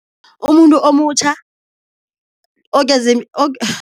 Umuntu omutjha